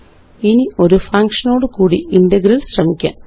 ഇനി ഒരു ഫങ്ഷനോടുകൂടി ഇന്റഗ്രല് ശ്രമിക്കാം